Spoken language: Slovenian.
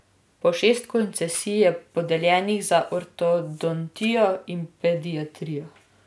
Po šest koncesij je podeljenih za ortodontijo in pediatrijo.